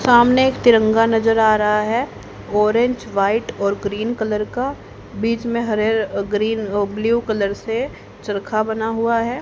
सामने एक तिरंगा नजर आ रहा है ऑरेंज व्हाइट और ग्रीन कलर का बीच में हरे uh green uh blue colour से चरखा बना हुआ है।